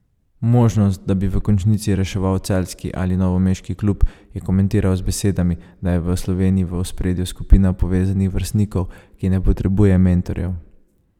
Možnost, da bi v končnici reševal celjski ali novomeški klub, je komentiral z besedami, da je v Sloveniji v ospredju skupina povezanih vrstnikov, ki ne potrebuje mentorjev.